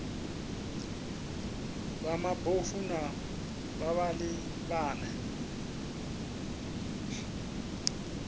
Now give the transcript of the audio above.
vha mabofu na vhavhali vhane